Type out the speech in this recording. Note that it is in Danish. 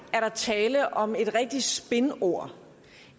tale om et rigtigt spinord